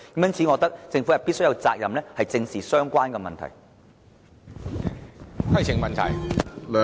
因此，我覺得政府有責任，必須正視相關的問題。